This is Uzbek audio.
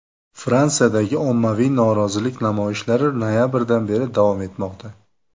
Fransiyadagi ommaviy norozilik namoyishlari noyabrdan beri davom etmoqda.